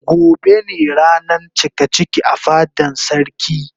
Gobe ne ranan cikaciki a fadan sarki.